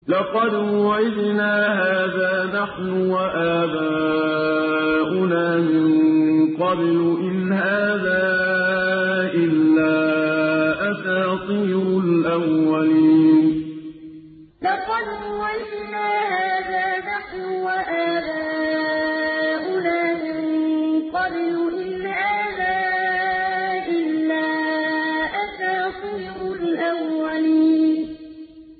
لَقَدْ وُعِدْنَا هَٰذَا نَحْنُ وَآبَاؤُنَا مِن قَبْلُ إِنْ هَٰذَا إِلَّا أَسَاطِيرُ الْأَوَّلِينَ لَقَدْ وُعِدْنَا هَٰذَا نَحْنُ وَآبَاؤُنَا مِن قَبْلُ إِنْ هَٰذَا إِلَّا أَسَاطِيرُ الْأَوَّلِينَ